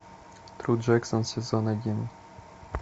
тру джексон сезон один